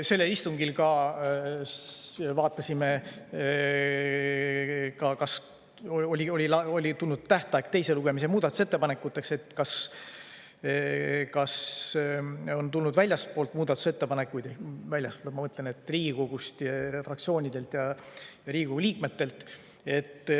Sellel istungil vaatasime, kuna oli tähtaeg enne teist lugemist muudatusettepanekute esitamiseks, kas on tulnud muudatusettepanekuid väljastpoolt, ma mõtlen, et Riigikogu fraktsioonidelt ja Riigikogu liikmetelt.